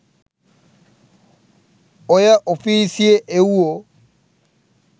ඔය ඔෆීසියෙ එවුවො